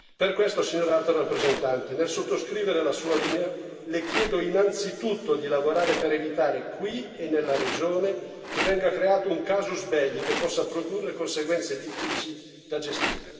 Per questo, signora Alto rappresentante, nel sottoscrivere la sua linea, le chiedo innanzitutto di lavorare per evitare, qui e nella regione, che venga creato un casus belli che possa produrre conseguenze difficili da gestire.